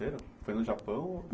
foi no Japão?